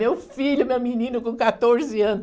Meu filho, meu menino com quatorze anos.